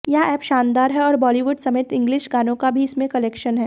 यह एप शानदार है और बॉलीवुड समेत इंग्लिश गानों का भी इसमें कलेक्शन है